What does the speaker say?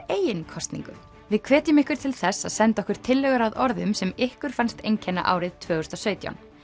eigin kosningu við hvetjum ykkur til þess að senda okkur tillögur að orðum sem ykkur fannst einkenna árið tvö þúsund og sautján